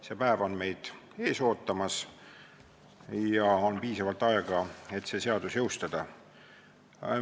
See päev on meid ees ootamas ja on piisavalt aega, et see seadus jõustada.